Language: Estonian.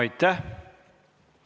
Aitäh!